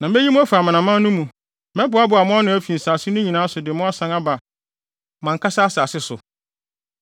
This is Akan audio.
“ ‘Na meyi mo afi amanaman no mu, mɛboaboa mo ano afi nsase no nyinaa so de mo asan aba mo ankasa asase so.